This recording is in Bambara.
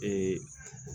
Ee